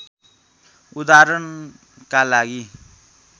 उदाहरणका लागि